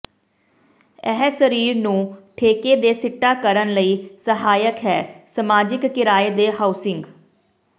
ਇਹ ਸਰੀਰ ਨੂੰ ਠੇਕੇ ਦੇ ਸਿੱਟਾ ਕਰਨ ਲਈ ਸਹਾਇਕ ਹੈ ਸਮਾਜਿਕ ਕਿਰਾਏ ਦੇ ਹਾਊਸਿੰਗ